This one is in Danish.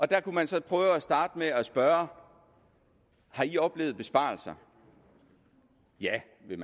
der kunne man så prøve at starte med at spørge har i oplevet besparelser ja ville